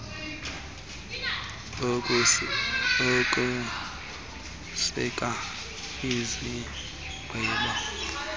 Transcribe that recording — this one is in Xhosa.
ukuseka izigqeba zezotywala